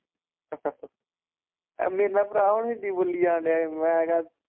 ਮੇਨਾ ਭਰਾ ਹੁਣ ਹਿੰਦੀ ਬੋਲੀ ਜਾਣ ਦਿਆ ਹੀ।